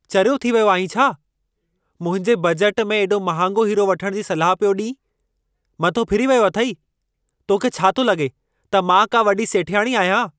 चरियो थी वियो आहीं छा? मुंहिंजे बजटु में एॾो महांगो हीरो वठण जी सलाह पियो ॾीं! मथो फिरी वियो अथई। तोखे छा थो लगे॒ त मां का वॾी सेठियाणी आहियां?